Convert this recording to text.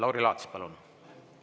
Lauri Laats, palun!